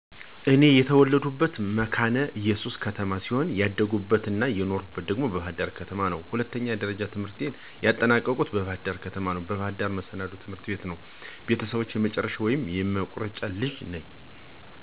እኔ የተወለድኩት መካነ እየሱስ ከተማ ሲሆን ያደኩት አና የኖርሁት ደግሞ በባህር ዳር ከተማ ነው። ሁለተኛ ደረጃ ትምህርቴንም ያጠናቀኩት በባህር ደር ከተማ፣ በባህር ዳር መሰናዶ ትምህርት ቤት ነው። ለቤተሰቦቸ የመጨረሻ ወይም የመቁረጫ ልጅ ነኝ። እንደ ማንኛውም ጨቅላ የልጅነት ጨዋታ እስከሚወጣልኝ ድረስ እየተጫወትኩኝ በደንብ አድጌአለሁ፤ ትምህርትን እየተማርኩኝ እንዲሁም ጎን ለጎን ቤተሰቦቸን እየታዘዝኩ፥ ስራ እያገዝሁ፣ ተኮትኩቸና ተቆንጥጨ አድጌአለሁ ማለት እችላለሁ።